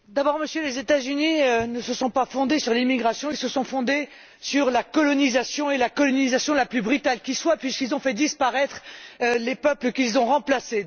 Monsieur le Président, les États Unis ne se sont pas fondés sur l'immigration, ils se sont fondés sur la colonisation et la colonisation la plus brutale qui soit, puisqu'ils ont fait disparaître les peuples qu'ils ont remplacés.